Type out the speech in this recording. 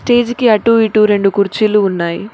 Stage కి అటూ ఇటూ రెండు కుర్చీలు ఉన్నాయి.